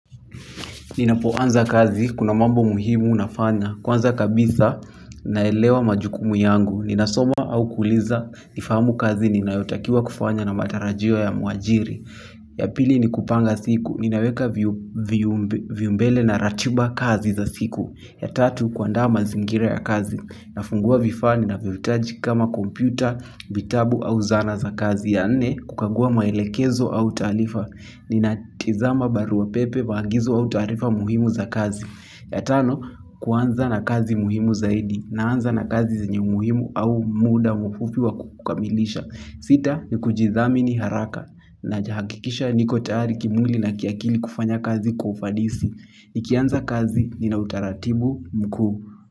Ninapoanza kazi, kuna mambo muhimu nafaa na kwanza kabisa, naelewa majukumu yangu. Ninasoma au kuuliza, nifahamu kazi ninayotakiwa kufanya na matarajio ya mwajiri. Ya pili, ni kupanga siku. Ninaweka viumbele na ratiba kazi za siku. Ya tatu, kuandaa mazingira ya kazi. Nafungua vifaa ninavyohitaji kama kompyuta, vitabu au zana za kazi, ya nne kukagua maelekezo au taarifa ninatizama barua pepe, maagizo au taarifa muhimu za kazi, ya tano, kuanza na kazi muhimu zaidi. Naanza na kazi zenye muhimu au muda mfupi wa kukamilisha sita, ni kujithamini haraka, nahakikisha niko tayari kimwili na kiakili kufanya kazi kwa ufadisi nikianza kazi nina utaratibu mkuu.